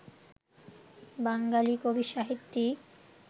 বাঙালি কবি সাহিত্যিক